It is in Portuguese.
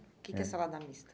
É. O que que é salada mista?